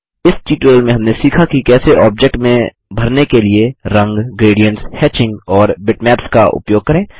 इस ट्यूटोरियल में हमने सीखा कि कैसे ऑब्जेक्ट में भरने के लिए रंग ग्रेडियन्ट्स हेचिंग और बिटमैप्स का उपयोग करें